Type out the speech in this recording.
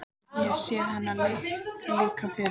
Ég hef séð hennar líka fyrr.